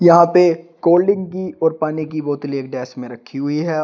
यहां पे कॉल्डिंग की और पानी की बोतले एक डेस्क में रखी हुई है और --